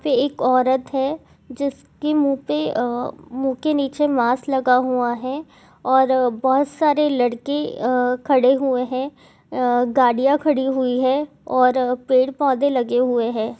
यहा पे एक औरत है जिसकी मुँह पे आ मुँह के नीचे मास्क लगा हुआ है और बहुत सारे लड़के आ खड़े हुए है आ गाड़ियां खड़ी हुई है और पेड़ पौधे लगे हुए है।